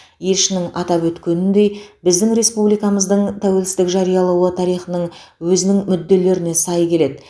елшінің атап өткеніндей біздің республикамыздың тәуелсіздік жариялауы тарихының өзінің мүдделеріне сай келеді